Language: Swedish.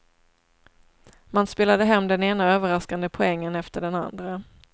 Man spelade hem den ena överraskande poängen efter den andra.